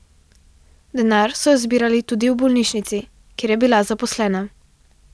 Denar so zbirali tudi v bolnišnici, kjer je bila zaposlena.